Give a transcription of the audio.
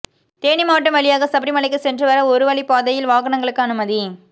தேனி மாவட்டம் வழியாக சபரிமலைக்கு சென்று வர ஒருவழிப் பாதையில் வாகனங்களுக்கு அனுமதி